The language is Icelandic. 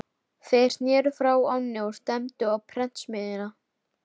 Þeir sneru frá ánni og stefndu á prentsmiðjuna.